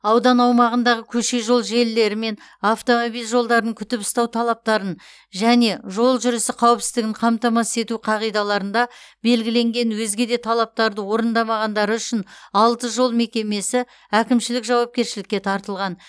аудан аумағындағы көше жол желілері мен автомобиль жолдарын күтіп ұстау талаптарын және жол жүрісі қауіпсіздігін қамтамасыз ету қағидаларында белгіленген өзге де талаптарды орындамағандары үшін алты жол мекемесі әкімшілік жауапкершілікке тартылған